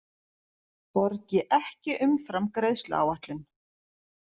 Borgi ekki umfram greiðsluáætlun